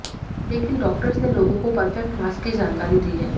लेकिन डॉक्टर्स ने लोगों को परफेक्ट मास्क की जानकारी दी है